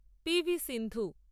P V Sindhu